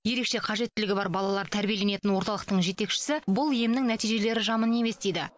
ерекше қажеттілігі бар балалар тәрбиеленетін орталықтың жетекшісі бұл емнің нәтижелері жаман емес дейді